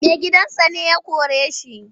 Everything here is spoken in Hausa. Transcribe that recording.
Maigidansa ne ya kore shi.